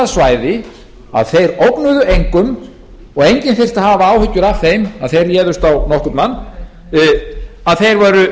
svæði að þeir ógnuðu engum og enginn þyrfti að hafa áhyggjur af þeim að þeir réðust á nokkurn mann þeir eru